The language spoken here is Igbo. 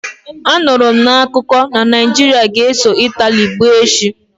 Anụrụ m n'akuko na Naijiria ga-eso Itali gbaa echi